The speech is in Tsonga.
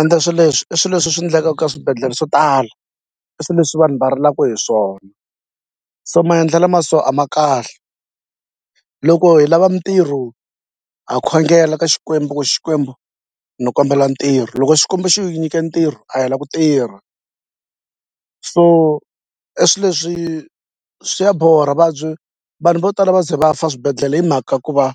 Ende swi leswi i swilo leswi swi endlekaka ka swibedhlele swo tala i swilo leswi vanhu va rilaka hi swona se maendlelo ma so a ma kahle. Loko hi lava mitirho ha khongela ka Xikwembu ku Xikwembu ni kombela ntirho loko Xikwembu xi hi nyike ntirho a hi la ku tirha so i swilo leswi swi ya borha va byi vanhu vo tala va ze va fa swibedhlele hi mhaka ku va